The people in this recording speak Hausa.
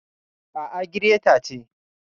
A'a, gireta ce.